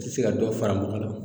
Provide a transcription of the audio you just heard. Te se ka dɔ fara mɔgɔ la